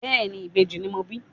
Bẹ́ẹ̀ni, ìbejì ni mo bí.